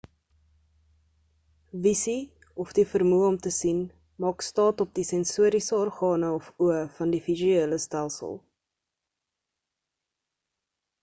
visie of die vermoë om te sien maak staat op die sensoriese organe of oë van die visuele stelsel